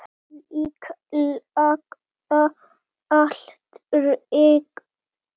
Líklega aldrei.